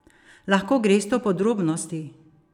Lahko greste v podrobnosti?